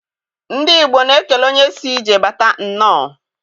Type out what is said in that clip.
Ndị Igbo na-ekele onye si ije bata nnọọ